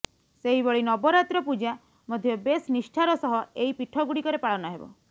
ସେହିଭଳି ନବରାତ୍ର ପୂଜା ମଧ୍ୟ ବେଶ ନିଷ୍ଠାର ସହ ଏହି ପୀଠଗୁଡିକରେ ପାଳନ ହେବ